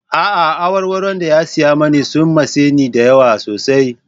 A'a, awarwaron da ya saya mani sun matse ni da yawa sosai.